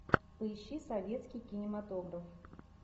поищи советский кинематограф